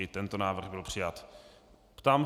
I tento návrh byl přijat.